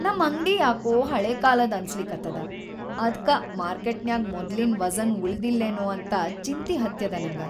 ನಮ್ ಅಂಗ್ಡಿ ಯಾಕೋ ಹಳೇಕಾಲದ್‌ ಅನ್ಸ್ಲಿಕತ್ತದ, ಅದ್ಕಾ ಮಾರ್ಕೆಟ್ನಾಗ್ ಮೊದ್ಲಿನ್‌ ವಜ಼ನ್‌ ಉಳಿದಿಲ್ಲೇನೊ ಅಂತ‌ ಚಿಂತಿ ಹತ್ಯದ್‌‌ ನಂಗ.